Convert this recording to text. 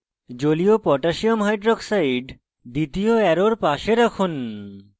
জলীয় potassium hydroxide aq koh দ্বিতীয় arrow কাছে রাখুন